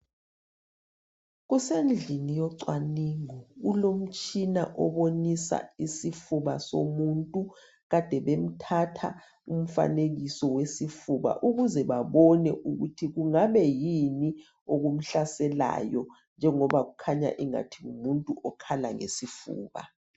Kusendlini yocwaningo kulomtshina obonisa isifuba somuntu ade bemthatha umfanekiso wesifuba ukuze babone ukuthi kungabe kuyini okumhlaselayo njengoba kukhanya engathi ngumuntu okhala ngesifuba.